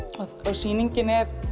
sýningin er